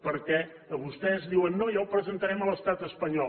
perquè vostès diuen no ja ho presentarem a l’estat espanyol